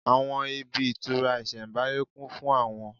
Àwọn ibi ìtura isembáyé kún fún àwọn